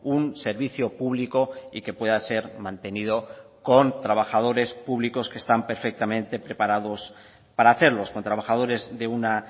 un servicio público y que pueda ser mantenido con trabajadores públicos que están perfectamente preparados para hacerlos con trabajadores de una